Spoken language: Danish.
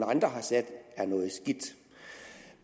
andre har sat er noget skidt